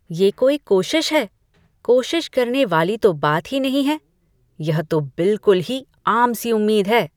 ये कोई कोशिश है? कोशिश करने वाली तो बात ही नहीं है, यह तो बिल्कुल ही आम सी उम्मीद है।